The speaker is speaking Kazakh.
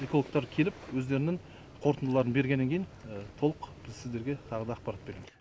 экологтар келіп өздерінің қорытындыларын бергеннен кейін толық біз сіздерге тағы да ақпарат береміз